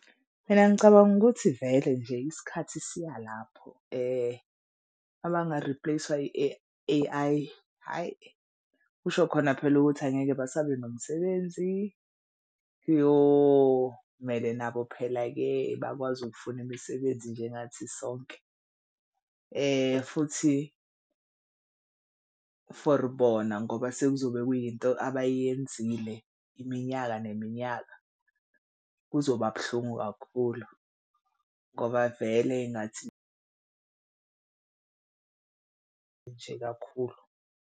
Mina ngicabanga ukuthi vele nje isikhathi siya lapho abanga-replace-wa A_I ayi kusho khona phela ukuthi angeke basabe nomsebenzi. Kuyomele nabo phela-ke bakwazi ukufuna imisebenzi njengathi sonke futhi for bona ngoba sekuzobe kuyinto abayenzile iminyaka neminyaka. Kuzoba buhlungu kakhulu ngoba vele engathi nje kakhulu.